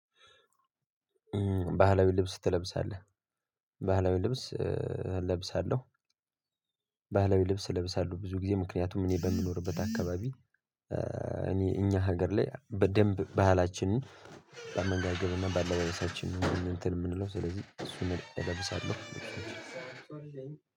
ባህላዊ ልብስ ትለብሳለህ? ባህላዊ ልብስ እለብሳለሁ። ባህላዊ ልብስ እለብሳለሁ ብዙ ጊዜ ምክንያቱም እኔ በምኖርበት አካባቢ። እኔ እኛ ሀገር ላይ በደንብ ባህላችንን በአመንጋገብና ባለበሳችን እንትን የምንለው ስለዚህ እሱን እለብሳለሁ።